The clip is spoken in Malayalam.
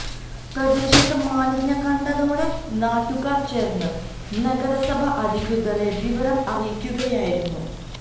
പ്രദേശത്ത് മാലിന്യം കണ്ടതോടെ നാട്ടുകാര് ചേര്ന്ന് നഗരസഭ അധികൃതരെ വിവരം അറിയിക്കുകയായിരുന്നു